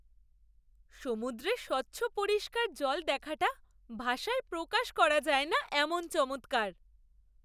সমুদ্রে স্বচ্ছ পরিষ্কার জল দেখাটা ভাষায় প্রকাশ করা যায় না এমন চমৎকার!